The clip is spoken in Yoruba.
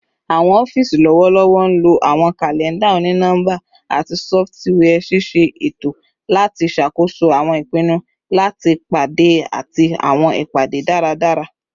Awọn ọfiisi lọwọlọwọ nlo awọn kalẹnda oni-nọmba ati sọfitiwia ṣiṣe eto lati ṣakoso awọn ipinnu lati pade ati awọn ipade daradara